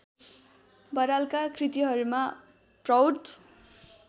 बरालका कृतिहरूमा प्रौढ